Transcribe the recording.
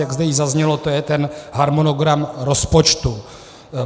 Jak zde již zaznělo, je to ten harmonogram rozpočtu.